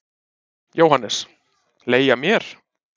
JÓHANNES: Leigja mér?